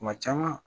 Kuma caman